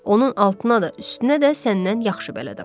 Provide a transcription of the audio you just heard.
Onun altına da, üstünə də səndən yaxşı bələdəm.